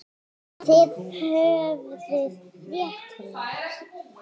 Þið höfðuð rétt fyrir ykkur.